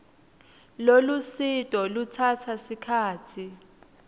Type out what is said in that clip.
lolusito lutsatsa sikhatsi